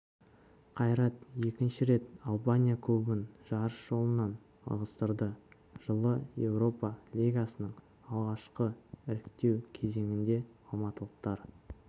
қайрат екінші рет албания клубын жарыс жолынан ығыстырды жылы еуропа лигасының алғашқы іріктеу кезеңінде алматылықтар